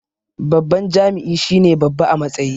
Babban jami'i shine babba a matsayi